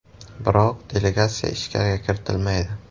Biroq delegatsiya ichkariga kiritilmaydi.